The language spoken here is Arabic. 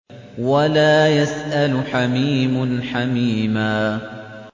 وَلَا يَسْأَلُ حَمِيمٌ حَمِيمًا